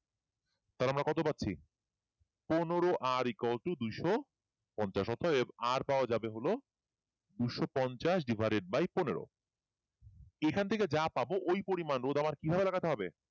পাচ্ছি পনেরো r equal to দুইশ পঞ্চাশ অর্থাৎ r পাওয়া যাবে হলও দুইশ পঞ্চাশ divided by পনেরো এখান থেকে যা পাব ওই পরিমাণ আমার কি ভাবে লাগাতে হবে